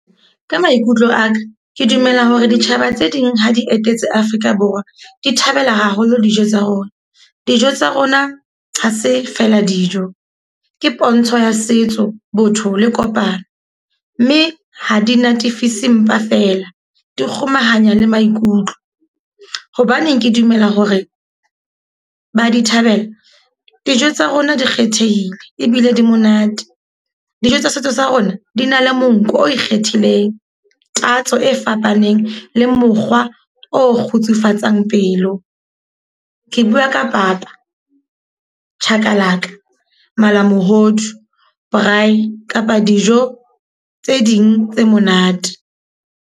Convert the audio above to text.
Ka maikutlo a ka, ke dumela hore ditjhaba tse ding ha di etetse Afrika Borwa. Di thabela haholo dijo tsa rona. Dijo tsa rona ha se feela dijo, ke pontsho ya setso, botho le kopano. Mme ha di natefisa mpa fela, di kgomahanya le maikutlo. Hobaneng ke dumela hore ba di thabela. Dijo tsa rona di kgethehile ebile di monate. Dijo tsa setso sa rona di na le monko o ikgethileng, tatso e fapaneng le mokgwa o kgotsufatsang pelo. Ke bua ka papa, chakalaka, malamohodu, braai kapa dijo tse ding tse monate.